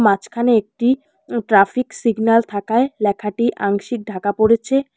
মাঝখানে একটি traffic um signal থাকায় লেখাটি আংশিক ঢাকা পড়েছে।